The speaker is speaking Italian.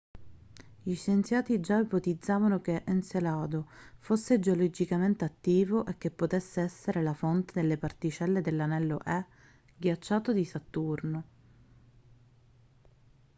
gli scienziati già ipotizzavano che encelado fosse geologicamente attivo e che potesse essere la fonte delle particelle dell'anello e ghiacciato di saturno